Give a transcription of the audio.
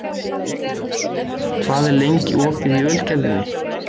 Frostúlfur, hvað er lengi opið í Ölgerðinni?